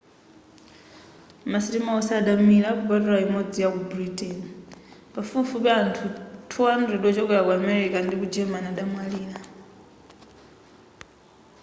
ma sitima onse anamira kupatuka imodzi yaku britain pafupifupi anthu 200 wochokera ku amerika ndi ku germany adamwalira